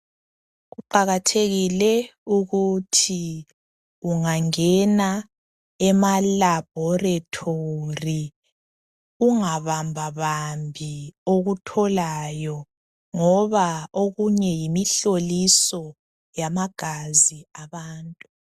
Kuqakathekile ukuthi ungangena emalabhorethori ungabambabambi okutholayo ngoba okunye yimihloliso yamagazi abantu.